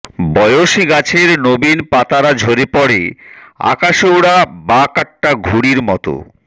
বয়সী গাছের নবীন পাতারা ঝরে পড়ে আকাশে ওড়া বাকাট্টা ঘুড়ির মতো